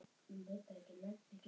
Öndina móðir grípum við.